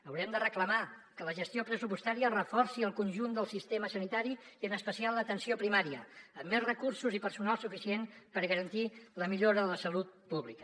haurem de reclamar que la gestió pressupostària reforci el conjunt del sistema sanitari i en especial l’atenció primària amb més recursos i personal suficient per garantir la millora de la salut pública